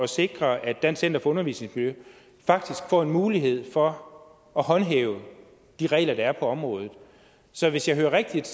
sikre at dansk center for undervisningsmiljø faktisk får en mulighed for at håndhæve de regler der er på området så hvis jeg hører rigtigt